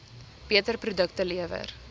beter produkte lewer